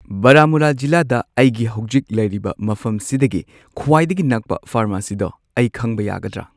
ꯕꯥꯔꯥꯃꯨꯂꯥ ꯖꯤꯂꯥꯗ ꯑꯩꯒꯤ ꯍꯧꯖꯤꯛ ꯂꯩꯔꯤꯕ ꯃꯐꯝꯁꯤꯗꯒꯤ ꯈ꯭ꯋꯥꯏꯗꯒꯤ ꯅꯛꯄ ꯐꯥꯔꯃꯥꯁꯤꯗꯣ ꯑꯩ ꯈꯪꯕ ꯌꯥꯒꯗ꯭ꯔꯥ꯫